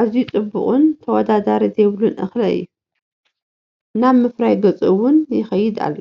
ኣዝዩ ጽቡቕን ተወዳዳሪ ዘይብሉን እኽሊ እዩ፡፡ ናብ ምፍራይ ገፅ ውን ይኸይድ ኣሎ፡፡